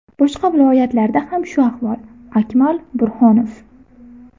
Boshqa viloyatlarda ham shu ahvol” Akmal Burhonov.